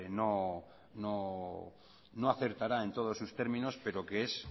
no acertará en todos sus términos pero que es